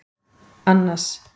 Annas